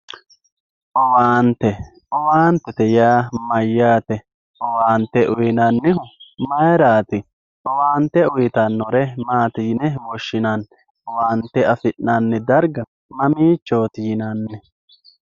owante owaantete yaa mayaate owaante uyiinannihu mayiiraati owaante uyiitannore maati yine woshshinanni owaante afinanni darga mamiichooti yinanni